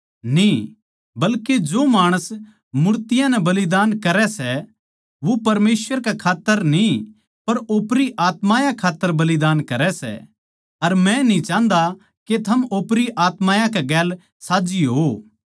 ना बल्के जो माणस मूर्तियाँ नै बलिदान करै सै वे परमेसवर कै खात्तर न्ही पर ओपरी आत्मायाँ कै खात्तर बलिदान करै सै अर मै न्ही चाहन्दा के थम ओपरी आत्मायाँ के गेलसाझ्झी होवो